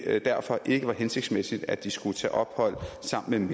at det derfor ikke var hensigtsmæssigt at de skulle tage ophold sammen